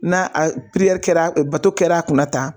N'a a kɛra bato kɛra a kunna tan